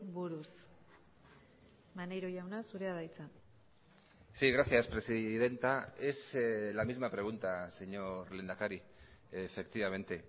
buruz maneiro jauna zurea da hitza sí gracias presidenta es la misma pregunta señor lehendakari efectivamente